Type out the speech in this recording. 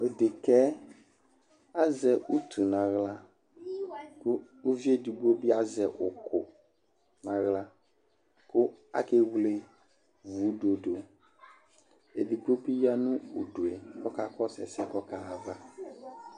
Tʋ dekǝ yɛ azɛ utu nʋ aɣla kʋ uvi edigbo bɩ azɛ ʋkʋ nʋ aɣla kʋ akewle vudo dʋ Edigbo bɩ ya nʋ udu yɛ Ɔkakɔsʋ ɛsɛ yɛ kʋ ɔkaɣa ayava